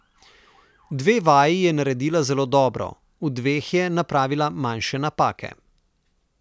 Dve vaji je naredila zelo dobro, v dveh je napravila manjše napake.